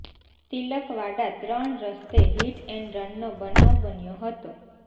તિલકવાડા ત્રણ રસ્તે hit and રનનો બનાવ બન્યો હતો